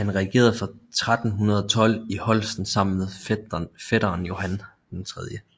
Han regerede fra 1312 i Holsten sammen med fætteren Johan 3